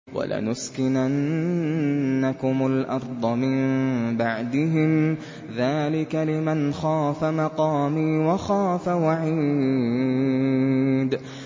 وَلَنُسْكِنَنَّكُمُ الْأَرْضَ مِن بَعْدِهِمْ ۚ ذَٰلِكَ لِمَنْ خَافَ مَقَامِي وَخَافَ وَعِيدِ